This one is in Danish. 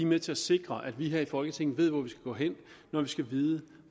med til at sikre at vi her i folketinget ved hvor vi skal gå hen når vi skal vide